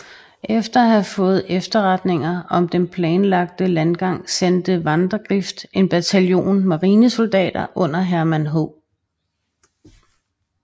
Efter at have fået efterretninger om den planlagte landgang sendte Vandegrift en bataljon marinesoldater under Herman H